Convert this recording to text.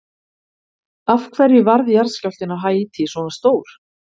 Af hverju varð jarðskjálftinn á Haítí svona stór?